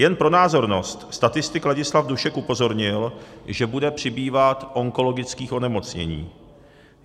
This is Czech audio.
Jen pro názornost, statistik Ladislav Dušek upozornil, že bude přibývat onkologických onemocnění.